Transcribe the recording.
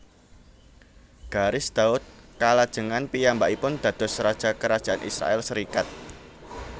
Garis Daud kalajengan piyambakipun dados raja Kerajaan Israèl serikat